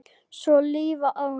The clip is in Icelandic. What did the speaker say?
Svo líða árin.